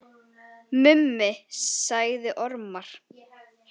Mummi sagði ormar.